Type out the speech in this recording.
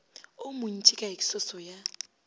wo montši ka eksoso ya